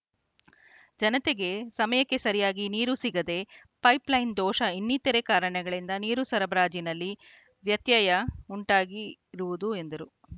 ಜನತೆಗೆ ಸಮಯಕ್ಕೆ ಸರಿಯಾಗಿ ನೀರು ಸಿಗದೆ ಪೈಪ್‌ಲೈನ್‌ ದೋಷ ಇನ್ನಿತರೆ ಕಾರಣಗಳಿಂದ ನೀರು ಸರಬರಾಜಿನಲ್ಲಿ ವ್ಯತ್ಯಯ ಉಂಟಾಗಿರುವುದು ಎಂದರು